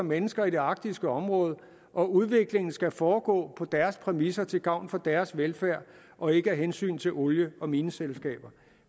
mennesker i det arktiske område at udviklingen skal foregå på deres præmisser til gavn for deres velfærd og ikke af hensyn til olie og mineselskaber